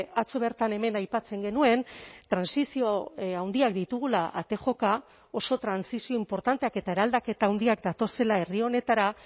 atzo bertan hemen aipatzen genuen trantsizio handiak ditugula ate joka oso trantsizio inportanteak eta eraldaketa handiak datozela herri honetara